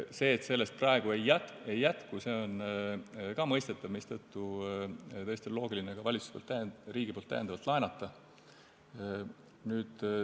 See, et nendest praegu ei jätku, on ka mõistetav, mistõttu on riigil tõesti loogiline ka täiendavalt laenata.